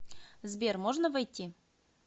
сбер можно войти